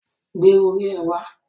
Gbé orí ẹ wá